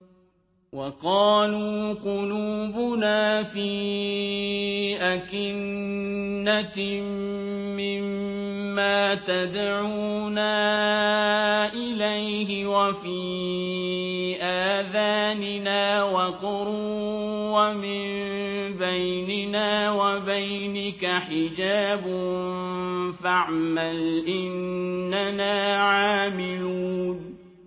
وَقَالُوا قُلُوبُنَا فِي أَكِنَّةٍ مِّمَّا تَدْعُونَا إِلَيْهِ وَفِي آذَانِنَا وَقْرٌ وَمِن بَيْنِنَا وَبَيْنِكَ حِجَابٌ فَاعْمَلْ إِنَّنَا عَامِلُونَ